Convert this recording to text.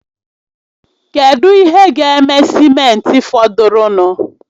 Kedu ihe ga-eme simenti fọdụrụnụ?